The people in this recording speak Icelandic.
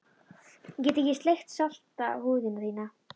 Ég get ekki sleikt salta húð þína hér.